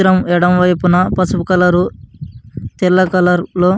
ఈ చిత్రం ఎడమ వైపున పసుపు కలర్ లో తెల్ల కలర్ --